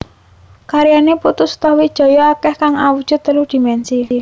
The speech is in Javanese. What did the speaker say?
Karyané Putu Sutawijaya akèh kang awujud telu dimènsi